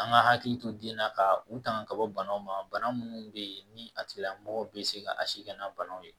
An ka hakili to den na ka u tanga ka bɔ banaw ma bana minnu bɛ yen ni a tigilamɔgɔ bɛ se ka a si kɛ n'a banaw ye